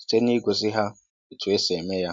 site na ị gosi ha otú e si eme ya